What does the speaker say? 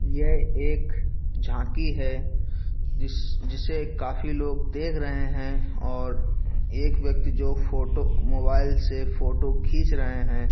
यह एक झांकी है जिस--जिसे काफी लोग देख रहे है और एक व्यक्ति जो फोटो मोबाइल से फोटो खीच रहे है।